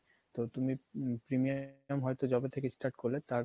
তো তুমি premium যবে থেকে start করলে তার